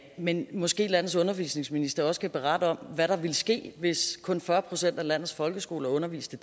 men måske landets undervisningsminister også kan berette om hvad der ville ske hvis kun fyrre procent af landets folkeskoler underviste